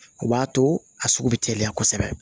O b'a to a sugu bɛ teliya kosɛbɛ